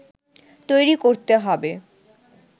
তৈরি করতে হবে